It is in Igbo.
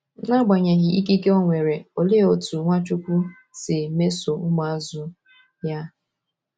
N’agbanyeghị ikike o nwere, olee otú Nwachujwu si mesoo ụmụazụ ya?